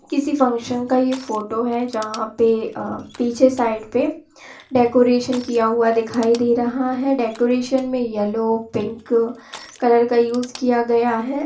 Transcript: किसी फंक्शन का ये फोटो है जहा पे अ पीछे साइड पे डेकोरेशन किया हुआ दिखाई दे रहा है डेकोरेशन मे येलो पिंक कलर का यूज़ किया गया है।